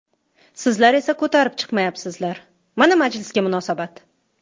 Sizlar esa ko‘tarib chiqmayapsizlar, mana majlisga munosabat.